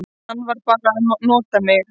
Hann var bara að nota mig.